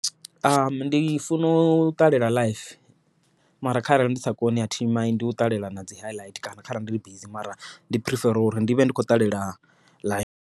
Ndi funa u ṱalela live mara kharali ndi sa koni athi mind u ṱalela nadzi highlight kana kharali ndi bizi mara ndi phirifera uri ndi vhe ndi khou ṱalela live.